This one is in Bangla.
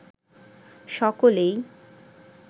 সকলেই